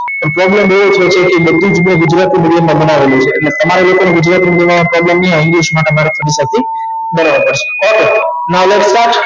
પણ problem એ છે કે બધુ જ ગુજરાતી middeum માં ભણાવેલું છે ઍટલે તમારે લોકો ને ગુજરાતી middeum વાળા ને problem નહિ આવે english માટે મારે બરાબર છે